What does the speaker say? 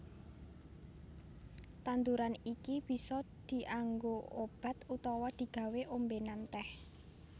Tanduran iki bisa dianggo obat utawa digawé ombènan tèh